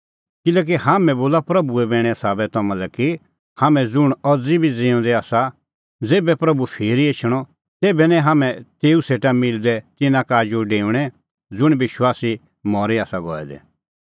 किल्हैकि हाम्हैं बोला प्रभूए बैणे साबै तम्हां लै कि हाम्हैं ज़ुंण अज़ी बी ज़िऊंदै आसा ज़ेभै प्रभू फिरी एछणअ तेभै निं हाम्हैं तेऊ सेटा मिलदै तिन्नां का आजू डेऊणैं ज़ुंण विश्वासी मरी आसा गऐ दै